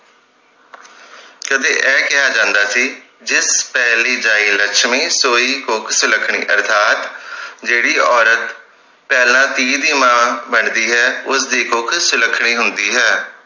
ਕਦੇ ਇਹ ਕਿਹਾ ਜਾਂਦਾ ਸੀ ਜਿੱਤ ਪਹਿਲੀ ਜਾਇ ਲਛਮੀ ਸੋਇ ਕੁੱਖ ਸੁਲੱਖਣੀ ਅਰਥਾਤ ਜਿਹੜੀ ਔਰਤ ਪਹਿਲਾਂ ਧੀ ਦੀ ਮਾਂ ਬਣਦੀ ਹੈ ਉਸਦੀ ਕੁੱਖ ਸੁਲੱਖਣੀ ਹੁੰਦੀ ਹੈ